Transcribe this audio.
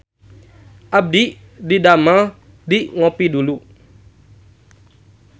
Abdi didamel di Ngopie Dulu